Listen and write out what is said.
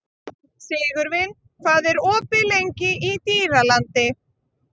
Sigurvin, hvað er opið lengi í Dýralandi?